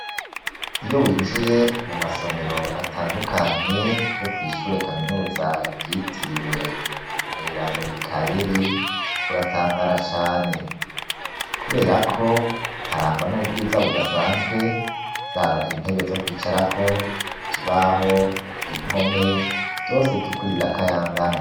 Iyo winjiye mu masomero, atandukanye, yo kwishure kaminuza, ryitiriwe Umweranda Mikayeri, uratangara cane; kubera ko, harangwa n'ubwiza budasanzwe, zaba intebe, zo kwicarako, ikibaho, impome; vyose, vy'ukuri birakayangana.